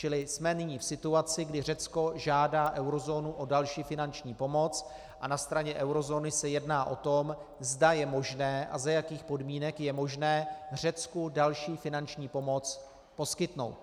Čili jsme nyní v situaci, kdy Řecko žádá eurozónu o další finanční pomoc a na straně eurozóny se jedná o tom, zda je možné a za jakých podmínek je možné Řecku další finanční pomoc poskytnout.